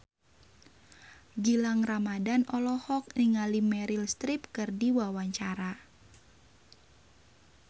Gilang Ramadan olohok ningali Meryl Streep keur diwawancara